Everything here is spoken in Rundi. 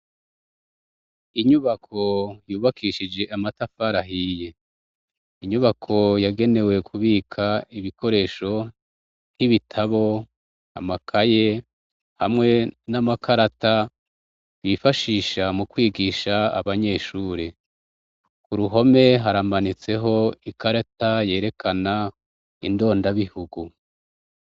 Inyubako yubakishije amatafarahiye inyubako yagenewe kubika ibikoresho nk'ibitabo amakaye hamwe n'amakarata bifashisha mu kwigisha abanyeshure ku ruhome harambanitse ho ikarata yerekana indondabihugu.